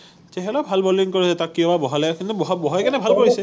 ছেহেলেও ভাল বলিং কৰে তাক কিয় বা বহালে কিন্তু ববহাই কিনে ভাল কৰিছে